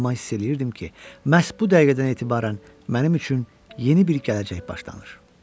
Amma hiss eləyirdim ki, məhz bu dəqiqədən etibarən mənim üçün yeni bir gələcək başlanır.